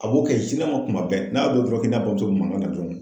A b'o kɛ kuma bɛɛ n'a k'i n'a bamuso bɛ mankan na dɔrɔn